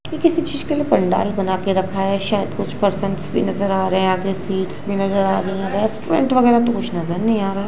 ये किसी चीज के लिए पंडाल बना के रखा है शायद कुछ पर्सनस भी नजर आ रहे आगे सीट्स भी नजर आ रही है रेस्टुरेंट वगेरा तो कुछ नजर नही आ रहा--